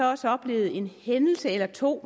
også oplevet en hændelse eller to